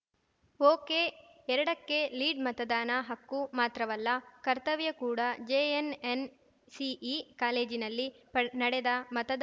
ಒಕೆಎರಡಕ್ಕೆ ಲೀಡ್‌ಮತದಾನ ಹಕ್ಕು ಮಾತ್ರವಲ್ಲ ಕರ್ತವ್ಯ ಕೂಡಾ ಜೆಎನ್‌ಎನ್‌ಸಿಇ ಕಾಲೇಜಿನಲ್ಲಿ ಪಡ್ ನಡೆದ ಮತದಾ